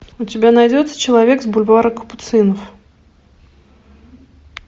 у тебя найдется человек с бульвара капуцинов